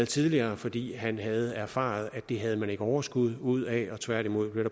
tidligere fordi han havde erfaret at det havde man ikke overskud ud af at tværtimod